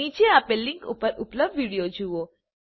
નીચે આપેલ લીંક ઉપર ઉપલબ્ધ વિડીઓ જુઓ